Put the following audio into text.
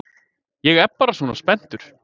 Ég er bara svona spenntur.